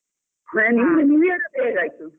ನಿಮ್ದು new year ಅದ್ದು ಹೇಗಾಯ್ತು?